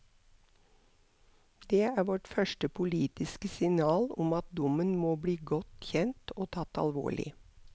Det er vårt første politiske signal om at dommen må bli godt kjent og tatt alvorlig.